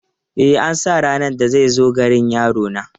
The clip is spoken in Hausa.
E, an sa ranar da zai zo ganin yarona.